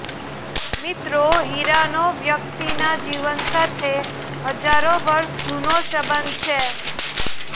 મિત્રો હીરાનો વ્યક્તિના જીવન સાથે હજારો વર્ષ જુનો સંબંધ છે